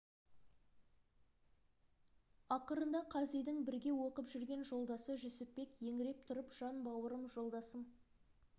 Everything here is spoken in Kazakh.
ақырында қазидың бірге оқып жүрген жолдасы жүсіпбек еңіреп тұрып жан бауырым жолдасым